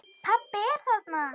Pabbi er þarna.